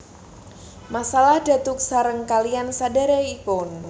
Masalah datuk sareng kaliyan sedherekipun